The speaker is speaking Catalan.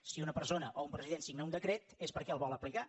si una persona o un president signa un decret és perquè el vol aplicar